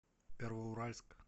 первоуральск